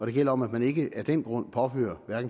det gælder om at man ikke af den grund påfører